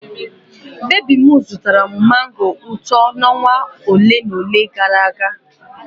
Nwa baby m zụtara m mango ụtọ ọnwa ole na ole gara aga.